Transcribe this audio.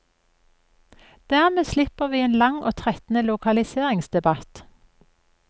Dermed slipper vi en lang og trettende lokaliseringsdebatt.